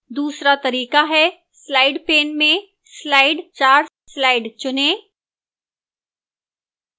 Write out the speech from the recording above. दूसरा तरीका है slide pane में slide 4 slide चुनें